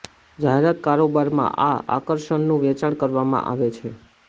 જાહેરાત કારોબારમાં આ આકર્ષણનું વેચાણ કરવામાં આવે છે